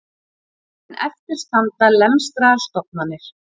En eftir standa lemstraðar stofnanir